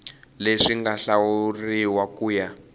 leswi nga hlawuriwa ku ya